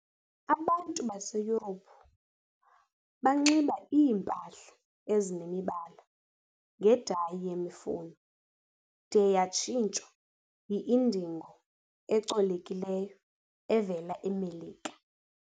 Abantu baseYurophu banxiba iimpahla ezinemibala ngedayi yemifuno de yatshintshwa yi-indigo ecolekileyo evela eMelika.